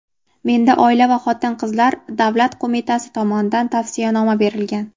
Menda Oila va xotin-qizlar davlat qo‘mitasi tomonidan tavsiyanoma berilgan.